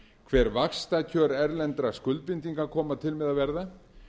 hver vaxtakjör erlendra skuldbindinga koma til með að verða